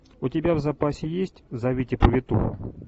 у тебя в запасе есть зовите повитуху